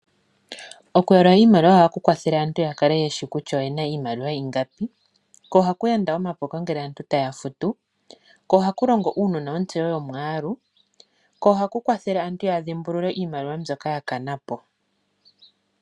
Oku yalula iimaliwa ohaku kwathele aantu ya kale yeshi kutya oyena iimaliwa ingapi, ko ohaku yanda omapuko ngele aantu taya futu, ko ohaku longo uunona otseyo yo mwaalu, ko ohaku kwathele aantu ya dhi mbulule iimaliwa mbyoka ya kana po.